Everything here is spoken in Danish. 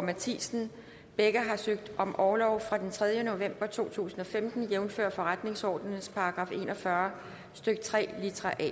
matthisen begge har søgt om orlov fra den tredje november to tusind og femten jævnfør forretningsordenens § en og fyrre stykke tre litra a